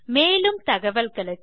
மேலும் தகவல்களுக்கு